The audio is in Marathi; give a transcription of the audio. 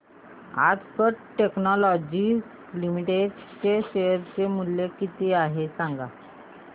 आज कॅट टेक्नोलॉजीज लिमिटेड चे शेअर चे मूल्य किती आहे सांगा